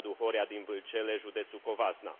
Radu Horia din Vâlcele, județul Covasna.